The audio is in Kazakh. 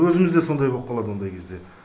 өзіміз де сондай боп қалады ондай кезде